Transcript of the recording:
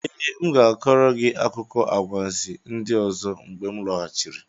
Ee, m ga-akọrọ gị akụkọ anwansi ndị ọzọ mgbe m lọghachiri.